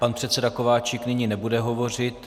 Pan předseda Kováčik nyní nebude hovořit.